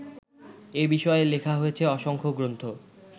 এ বিষয়ে লেখা হয়েছে অসংখ্য গ্রন্থ